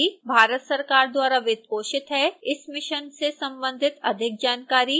इस मिशन से संबंधित अधिक जानकारी दिए गए लिंक पर उपलब्ध है